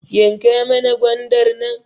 Yanka mana gwandar nan